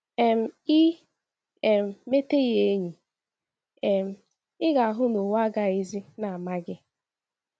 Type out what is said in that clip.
um I um mete ya enyi, um ị ga - ahụ na owu agaghịzi na - ama gị. ”